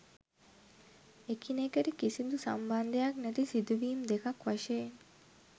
එක්නෙකට කිසිදු සම්බන්ධයක් නැති සිදුවීම් දෙකක් වශයෙන්